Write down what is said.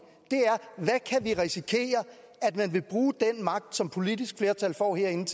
er risikere at den magt som et politisk flertal får herinde